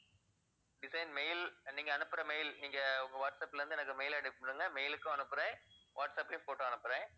design mail நீங்க அனுப்புற mail நீங்க உங்க வாட்ஸ்அப்ல இருந்து எனக்கு mail அனுப்பி விடுங்க mail உக்கும் அனுப்புறேன், வாட்ஸ்அப்லயும் photo அனுப்புறேன்